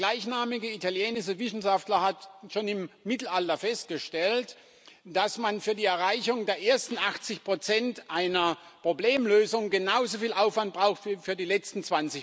Der gleichnamige italienische Wissenschaftler hatte schon im Mittelalter festgestellt, dass man für die Erreichung der ersten 80 einer Problemlösung genauso viel Aufwand braucht wie für die letzten